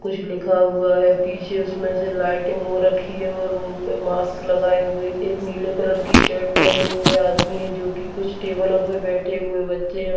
कुछ लिखा हुआ है पीछे इसमे से लाइटिंग हो रखी है और मुह पे मास्क लगाए हुए एक नीले कलर की शर्ट पहने हुए आदमी है जो की कुछ टेबलो पे बैठे हुए बच्चे है।